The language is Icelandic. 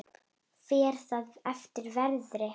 Fer það eftir veðri.